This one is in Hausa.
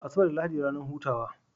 Asabar da lahadi ranar hutawa